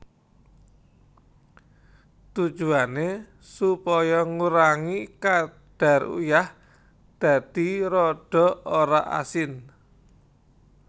Tujuwané supaya ngurangi kadar uyah dadi rada ora asin